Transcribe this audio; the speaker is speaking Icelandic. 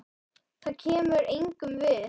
Það kemur engum við.